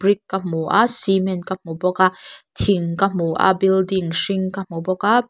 brick ka hmu a cement ka hmu bawk a thing ka hmu a building hring ka hmu bawk a --